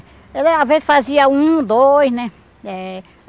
Era às vezes fazia um, dois, né? Eh